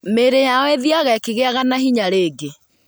Mĩĩrĩ yao ĩthiaga ĩkĩgĩaga na hinya rĩngĩ.